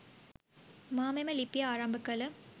මා මෙම ලිපිය ආරම්භ කළ